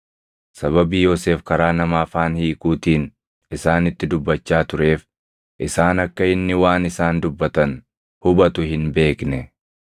Sababii Yoosef karaa nama afaan hiikuutiin isaanitti dubbachaa tureef isaan akka inni waan isaan dubbatan hubatu hin beekne.